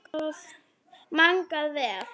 Magnað alveg.